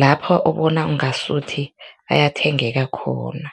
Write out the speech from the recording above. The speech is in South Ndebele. lapho ubona ngasuthi ayathengeka khona?